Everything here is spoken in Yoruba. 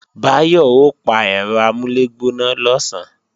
Báyọ̀ ó pa ẹ̀rọ amúlẹ̀gbóná lọ̀sán